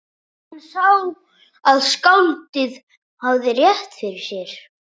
Hann sá að skáldið hafði rétt fyrir sér.